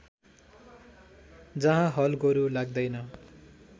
जहाँ हलगोरु लाग्दैन